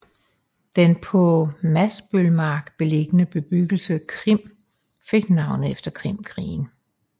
Den på Masbølmark beliggende bebyggelse Krim fik navnet efter Krimkrigen